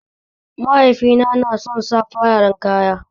Mahaifina na son sa fararen kaya